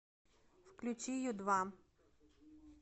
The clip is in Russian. включи ю два